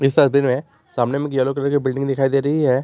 सामने में एक येलो कलर की बिल्डिंग दिखाई दे रही है।